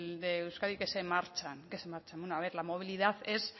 de euskadi que se marchan que se marchan bueno a ver la movilidad es